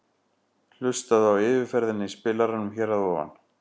Hlustaðu á yfirferðina í spilaranum hér að ofan.